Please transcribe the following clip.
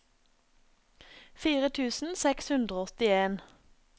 fire tusen seks hundre og åttien